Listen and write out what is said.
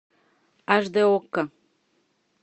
аш д окко